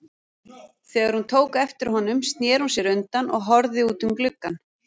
Þegar hún tók eftir honum snéri hún sér undan og horfði út um gluggann.